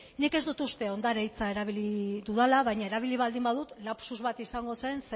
nik ez dut uste ondare hitza erabili dudala baina erabili baldin badut lapsus bat izango zen